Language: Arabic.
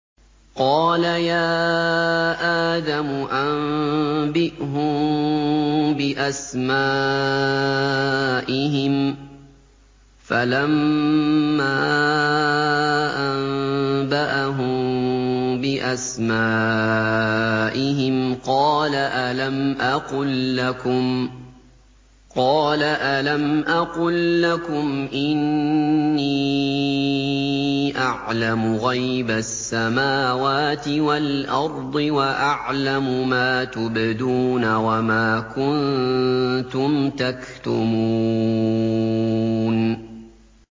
قَالَ يَا آدَمُ أَنبِئْهُم بِأَسْمَائِهِمْ ۖ فَلَمَّا أَنبَأَهُم بِأَسْمَائِهِمْ قَالَ أَلَمْ أَقُل لَّكُمْ إِنِّي أَعْلَمُ غَيْبَ السَّمَاوَاتِ وَالْأَرْضِ وَأَعْلَمُ مَا تُبْدُونَ وَمَا كُنتُمْ تَكْتُمُونَ